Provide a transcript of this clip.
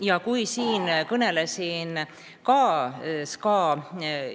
Ma kõnelesin sellest SKA